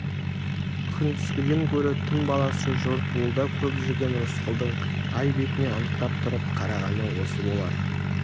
күндізгіден гөрі түн баласы жортуылда көп жүрген рысқұлдың ай бетіне анықтап тұрып қарағаны осы болар